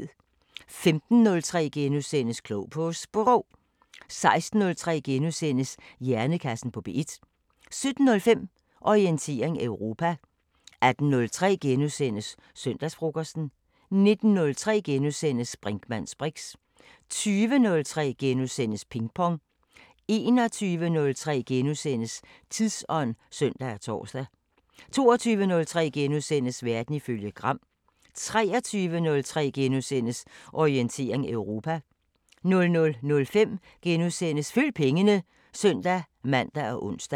15:03: Klog på Sprog * 16:03: Hjernekassen på P1 * 17:05: Orientering Europa 18:03: Søndagsfrokosten * 19:03: Brinkmanns briks * 20:03: Ping Pong * 21:03: Tidsånd *(søn og tor) 22:03: Verden ifølge Gram * 23:03: Orientering Europa * 00:05: Følg pengene *(søn-man og ons)